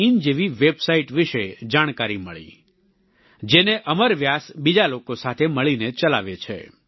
in જેવી website વિશે જાણકારી મળી જેને અમર વ્યાસ બીજા લોકો સાથે મળીને ચલાવે છે